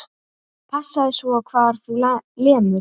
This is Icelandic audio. Passaðu svo hvar þú lemur.